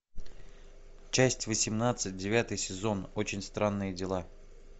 часть восемнадцать девятый сезон очень странные дела